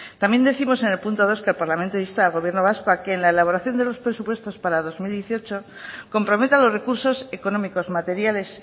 también décimos en el punto dos que el parlamento insta al gobierno vasco a que en la elaboración de los presupuestos para dos mil dieciocho comprometa los recursos económicos materiales